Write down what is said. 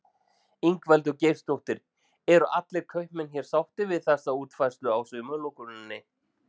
Ingveldur Geirsdóttir: Eru allir kaupmenn hér sáttir við þessa útfærslu á sumarlokuninni?